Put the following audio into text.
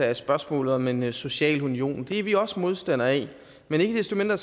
af spørgsmålet om en social union for det er vi også modstandere af men ikke desto mindre